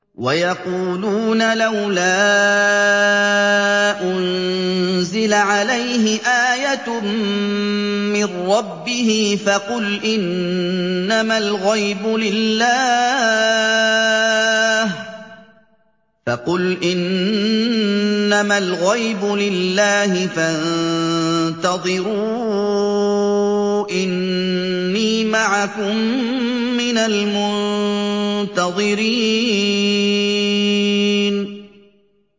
وَيَقُولُونَ لَوْلَا أُنزِلَ عَلَيْهِ آيَةٌ مِّن رَّبِّهِ ۖ فَقُلْ إِنَّمَا الْغَيْبُ لِلَّهِ فَانتَظِرُوا إِنِّي مَعَكُم مِّنَ الْمُنتَظِرِينَ